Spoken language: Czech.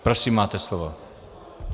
Prosím, máte slovo.